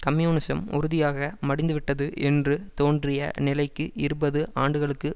communism உறுதியாக மடிந்துவிட்டது என்று தோன்றிய நிலைக்கு இருபது ஆண்டுகளுக்கு